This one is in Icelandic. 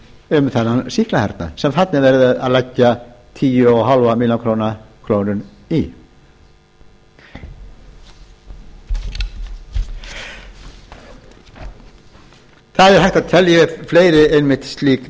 um þennan sýklahernað sem þarna er verið að leggja tíu komma fimm milljónir króna í það er hægt að telja upp fleiri slík